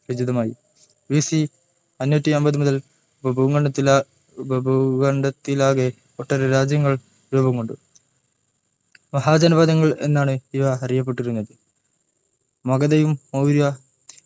B. C അഞ്ഞൂറ്റി അമ്പത് മുതൽ ഉപഭൂഖണ്ഡത്തിലെ ഉപഭൂഖണ്ഡത്തിലാകെ ഒട്ടേറെ രാജ്യങ്ങൾ രൂപം കൊണ്ട മഹാജനപദങ്ങൾ എന്നാണ് ഇവ അറിയപ്പെട്ടിരുന്നത് മഗതയും മൗര്യ